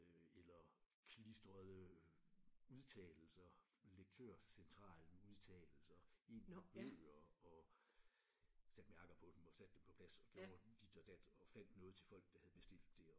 Øh eller klistrede udtalelser Lektørcentralen-udtalelser ind i bøger og satte mærker på dem og satte dem på plads og gjorde dit og dat og fandt noget til folk der havde bestilt det og